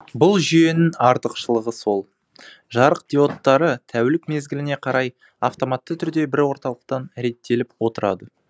бұл жүйенің артықшылығы сол жарық диоттары тәулік мезгіліне қарай автоматты түрде бір орталықтан реттеліп отырады